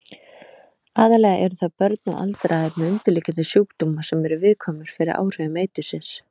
Aðallega eru það börn og aldraðir með undirliggjandi sjúkdóma sem eru viðkvæmir fyrir áhrifum eitursins.